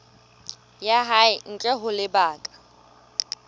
ya hae ntle ho lebaka